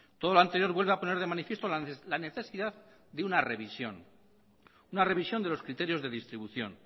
todo lo anterior vuelve a poner de manifiesto la necesidad de una revisión de los criterios de distribución